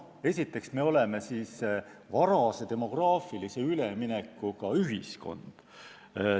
Esiteks, me oleme varase demograafilise üleminekuga ühiskond.